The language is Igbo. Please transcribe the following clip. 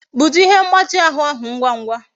Bute ihe mgbati ahu ahu ngwa ngwa